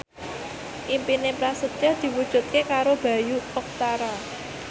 impine Prasetyo diwujudke karo Bayu Octara